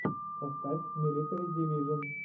поставь милитари дивижон